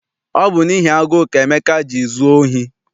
Ọ bụ n'ihi agụụ ka Emeka ji zụọ ohi.